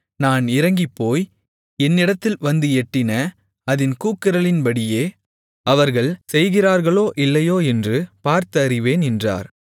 நான் இறங்கிப்போய் என்னிடத்தில் வந்து எட்டின அதின் கூக்குரலின்படியே அவர்கள் செய்திருக்கிறார்களோ இல்லையோ என்று பார்த்து அறிவேன் என்றார்